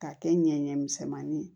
K'a kɛ ɲɛɲɛ misɛnmanin ye